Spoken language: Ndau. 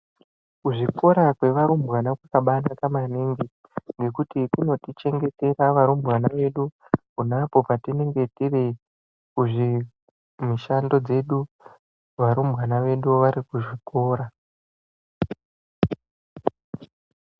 Kuzvikora kwevarumbwana kwakabanaka maningi ngekuti kunotichengetera varumbwana vedu ponapo patinenge tiri kuzvimushando dzedu varumbwana vedu vari kuzvikora.